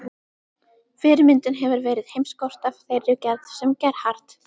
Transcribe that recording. Fyrirmyndin hefur verið heimskort af þeirri gerð sem Gerhard